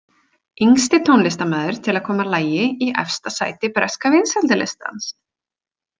Yngsti tónlistarmaður til að koma lagi í efsta sæti breska vinsældarlistans!